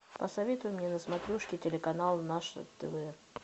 посоветуй мне на смотрешке телеканал наше тв